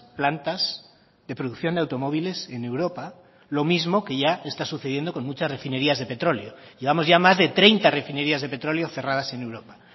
plantas de producción de automóviles en europa lo mismo que ya está sucediendo con muchas refinerías de petróleo llevamos ya más de treinta refinerías de petróleo cerradas en europa